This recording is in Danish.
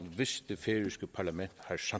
hvis det færøske parlament